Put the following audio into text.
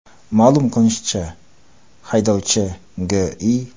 Ma’lum qilinishicha, haydovchi G.I.